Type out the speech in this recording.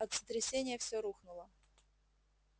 от сотрясения все рухнуло